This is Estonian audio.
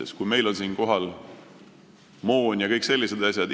On hea, kui meil on siin kohapeal olemas moon ja kõik sellised asjad.